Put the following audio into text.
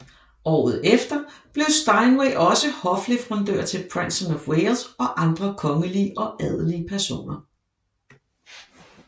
Året efter blev Steinway også hofleverandør til Prinsen af Wales og andre kongelige og adelige personer